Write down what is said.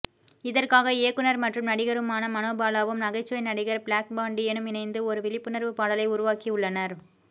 இதற்காக இயக்குனர் மற்றும் நடிகருமான மனோபாலாவும் நகைச்சுவை நடிகர் பிளாக்பாண்டியும் இணைந்து ஒரு விழிப்புணர்வு பாடலை உருவாக்கி உள்ளனர்